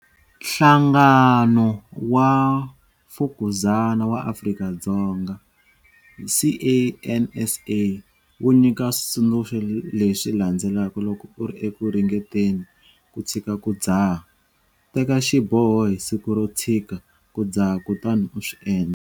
Nhlangano wa Mfukuzana wa Afrika-Dzonga, CANSA, wu nyika switsundzuxo leswi landzelaka loko u ri eku ringeteni ku tshika ku dzaha- Teka xiboho hi siku ro tshika ku dzaha kutani u swi endla.